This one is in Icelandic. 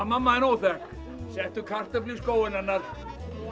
mamma þín óþekk settu kartöflu í skóinn hennar